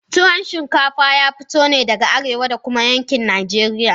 Tuwo chikafa ta fito ne daga arewa da kuma yankin Najeriya.